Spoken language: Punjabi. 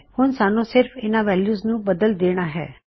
ਹੁਣ ਸਾੱਨ੍ਹੂ ਸਿਰਫ ਇਨ੍ਹਾ ਵੈਲਯੂਜ਼ ਨੂੰ ਬਦਲ ਦੇਣਾ ਹੈ